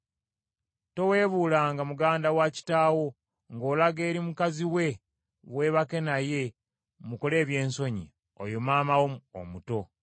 “ ‘Toweebuulanga muganda wa kitaawo, ng’olaga eri mukazi we weebake naye mukole ebyensonyi; oyo maama wo omuto.